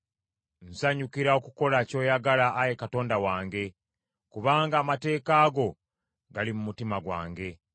Nsanyukira okukola ky’oyagala, Ayi Katonda wange, kubanga amateeka go gali mu mutima gwange.